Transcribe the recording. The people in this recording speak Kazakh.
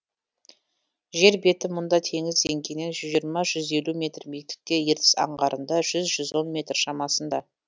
жер беті мұнда теңіз деңгейінен жүз жиырма жүз елу метр биіктікте ертіс аңғарында жүз жүз он метр шамасында